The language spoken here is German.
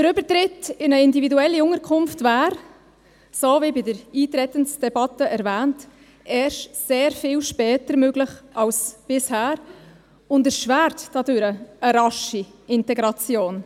– Der Übertritt in eine individuelle Unterkunft wäre, so wie in der Eintretensdebatte erwähnt, erst sehr viel später möglich als bisher und erschwert dadurch eine rasche Integration.